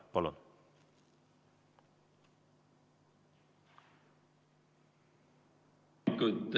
Palun!